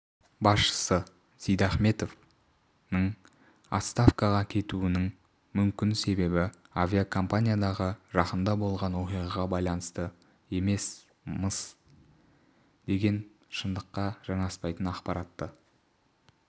басшысы сейдахметов ның отставкаға кетуінің мүмкінсебебі авиакомпаниядағы жақында болған оқиғаға байланысты екен-мыс деген шындыққа жанаспайтын ақпаратты